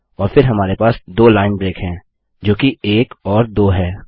और फिर हमारे पास 2 लाइन ब्रेक है जो कि 1 और 2 है